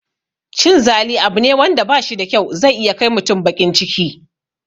Cin zali abu ne wanda bashi da kyau, zai iya kai mutum baƙin ciki